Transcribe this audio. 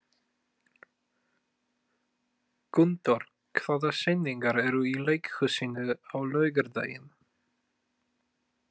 Gunndór, hvaða sýningar eru í leikhúsinu á laugardaginn?